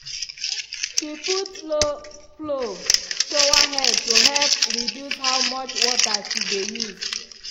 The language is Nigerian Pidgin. she put low-flow showerheads to help reduce how much water she dey use.